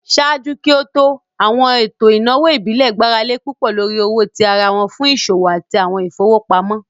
Ṣaaju ki o to, awọn eto inawo ibile gbarale pupọ lori owo ti ara fun awọn iṣowo ati awọn ifowopamọ.